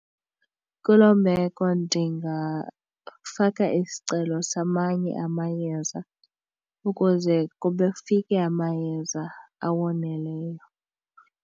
Kuloo meko ndingafaka isicelo samanye amayeza ukuze kufike amayeza awoneleyo.